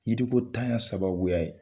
Yiriko ntanya sabaya ye